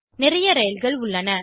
நிறைய ரயில்கள் உள்ளன